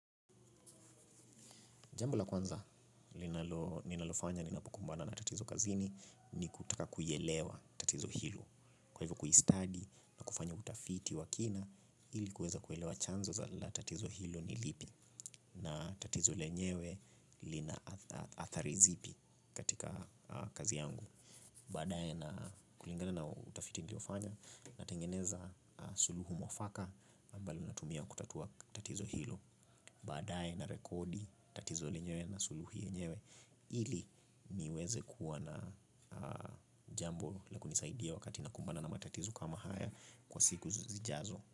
Jambo la kwanza ninalofanya ninapokumbana na tatizo kazini ni kutaka kuelewa tatizo hilo. Kwa hivyo, kuistadi na kufanya utafiti wa kina ili kuweza kuelewa chanzo la tatizo hilo ni lipi na tatizo lenyewe lina athari zipi katika kazi yangu. Baadaye, na kulingana na utafiti niliofanya, natengeneza suluhisho mwafaka ambalo natumia kutatua tatizo hilo. Baadaye, narekodi tatizo lenyewe na suluhisho lenyewe ili niweze kuwa na jambo la kunisaidia wakati nakumbana na matatizo kama haya siku zijazo.